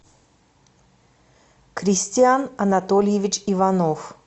кристиан анатольевич иванов